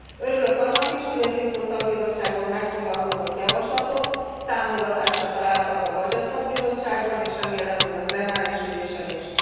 Örülök annak is, hogy az IMCO szakbizottságban megfogalmazott javaslatok támogatásra találtak a BUDGET szakbizottságban és remélem, hogy a plenáris ülésen is.